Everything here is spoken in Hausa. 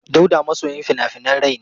Dauda masoyin fina-finan rai ne.